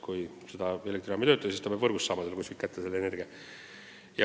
Kui elektrijaam ei tööta, peab ta ju ikka kuskilt elektrit saama.